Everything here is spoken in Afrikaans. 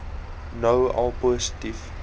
nou al positief